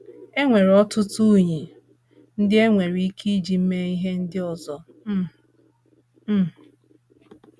E nwere ọtụtụ unyí ndị e nwere ike iji mee ihe ndị ọzọ um. um